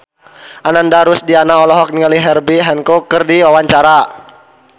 Ananda Rusdiana olohok ningali Herbie Hancock keur diwawancara